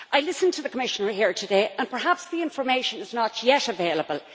I listened to the Commissioner here today and perhaps the information is not yet available.